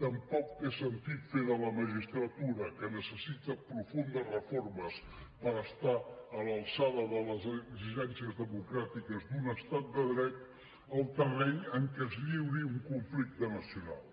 tampoc té sentit fer de la magistratura que necessita profundes reformes per estar a l’alçada de les exigències democràtiques d’un estat de dret el terreny en què es lliuri un conflicte nacional